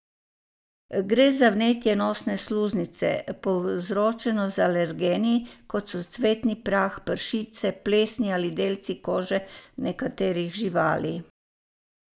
Gre za vnetje nosne sluznice, povzročeno z alergeni, kot so cvetni prah, pršice, plesni ali delci kože nekaterih živali.